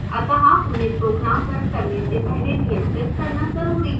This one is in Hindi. अतः उन्हें program रन करने से पहले नियंत्रित करना जरूरी है